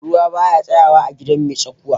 Ruwa ba ya tsayawa a gidan mai tsakuwa.